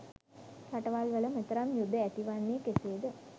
රටවල් වල මෙතරම් යුධ ඇතිවන්නේ කෙසේද?